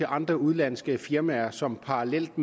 andre udenlandske firmaer som parallelt